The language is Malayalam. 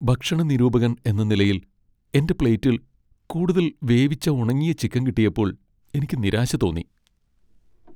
ഭക്ഷണ നിരൂപകൻ എന്ന നിലയിൽ, എന്റെ പ്ലേറ്റിൽ കൂടുതൽ വേവിച്ച ഉണങ്ങിയ ചിക്കൻ കിട്ടിയപ്പോൾ എനിക്ക് നിരാശ തോന്നി .